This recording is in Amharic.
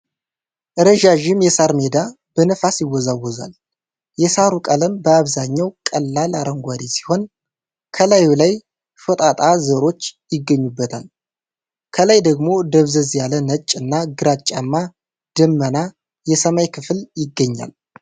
ረዣዥም የሳር ሜዳ በነፋስ ይወዛወዛል። የሳሩ ቀለም በአብዛኛው ቀላል አረንጓዴ ሲሆን፣ ከላዩ ላይ ሾጣጣ ዘሮች ይገኙበታል። ከላይ ደግሞ ደብዘዝ ያለ ነጭ እና ግራጫማ ደመና የሰማይ ክፍል ይገኛል።